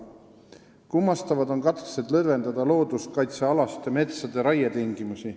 Kummastavad on katsed lõdvendada raietingimusi looduskaitsealustes metsades.